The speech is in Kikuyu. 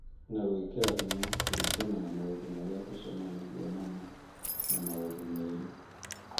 na gwĩkĩra hinya kũringana na maũndũ marĩa tũcemanagia namo na maũndũ merũ.